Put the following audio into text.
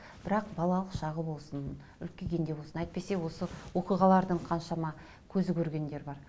бірақ балалық шағы болсын үлкейгенде болсын әйтпесе осы оқиғалардың қаншама көзі көргендер бар